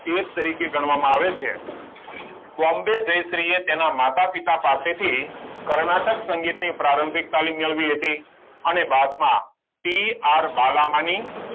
તરીકે ગણવામાં આવે છે બોમ્બે જયશ્રી એ તેના માતા પિતા પાસે થી કર્ણાટક સંગીત ની પ્રારંભિક તાલીમ મેળવી હતી અને બાદ માં સી આર બાલમની